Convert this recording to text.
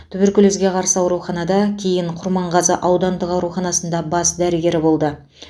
туберкулезге қарсы ауруханада кейін құрманғазы аудандық ауруханасында бас дәрігері болды